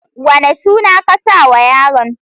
Wane suna ka saw yaron.